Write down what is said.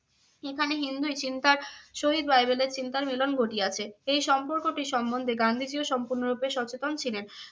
এখানে হিন্দুই চিন্তার সহিত বাইবেলের চিন্তার মিলন ঘটিয়াছে। এই সম্পর্কটি সম্বন্ধে গান্ধীজীও সম্পূর্ণরূপে সচেতন ছিলেন।